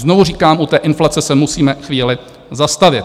Znovu říkám, u té inflace se musíme chvíli zastavit.